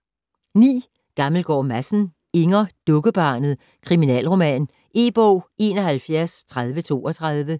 Gammelgaard Madsen, Inger: Dukkebarnet: kriminalroman E-bog 713032